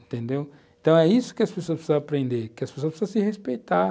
Entendeu? Então é isso que as pessoas precisam aprender, que as pessoas precisam se respeitar.